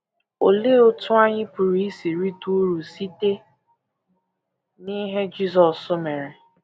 Olee otú anyị pụrụ isi rite uru site n’ihe Jisọs mere?